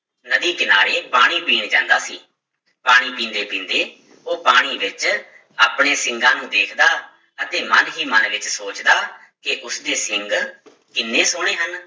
ਨਦੀ ਕਿਨਾਰੇ ਪਾਣੀ ਪੀਣ ਜਾਂਦਾ ਸੀ, ਪਾਣੀ ਪੀਂਦੇ ਪੀਂਦੇ ਉਹ ਪਾਣੀ ਵਿੱਚ ਆਪਣੇ ਸਿੰਗਾਂ ਨੂੰ ਵੇਖਦਾ ਅਤੇ ਮਨ ਹੀ ਮਨ ਵਿੱਚ ਸੋਚਦਾ ਕਿ ਉਸਦੇ ਸਿੰਗ ਕਿੰਨੇ ਸੋਹਣੇ ਹਨ।